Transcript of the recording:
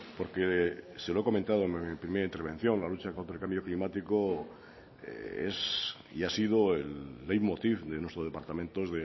porque se lo he comentado en mi primera intervención la lucha contra el cambio climático es y ha sido el leitmotiv de nuestro departamento